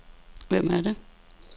Hvem er det